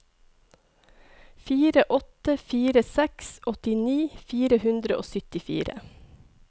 fire åtte fire seks åttini fire hundre og syttifire